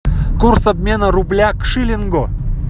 курс обмена рубля к шиллингу